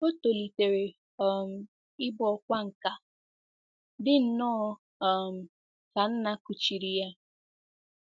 O tolitere um ịbụ ọkwá nkà, dị nnọọ um ka nna kuchiri ya.